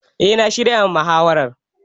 Eh na shirya ma muhawarar